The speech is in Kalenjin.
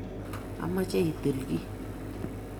amoche itinye kii.